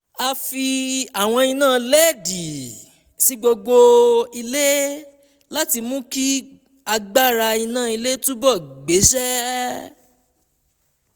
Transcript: a fi àwọn iná led sí gbogbo ilé láti mú kí agbára iná ilé túbọ̀ gbéṣẹ́